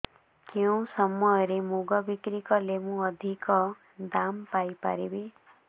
କେଉଁ ସମୟରେ ମୁଗ ବିକ୍ରି କଲେ ମୁଁ ଅଧିକ ଦାମ୍ ପାଇ ପାରିବି